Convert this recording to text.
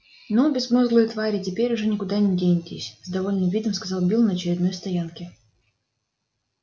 ну безмозглые твари теперь уж никуда не денетесь с довольным видом сказал билл на очередной стоянке